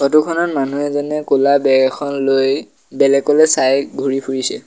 ফটোখনত মানুহ এজনে ক'লা বেগ এখন লৈ বেলেগলে চাই ঘূৰি ফুৰিছে।